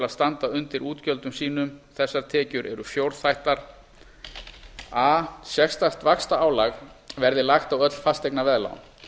að standa undir útgjöldum sínum þessar tekjur eru fjórþættar a sérstakt vaxtaálag verði lagt á öll fasteignaveðlán